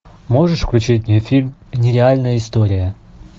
можешь включить мне фильм нереальная история